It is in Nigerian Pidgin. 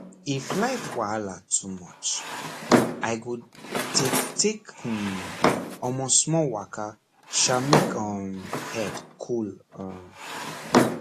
if life wahala too much i go take take hmm omor small waka sha make um head cool um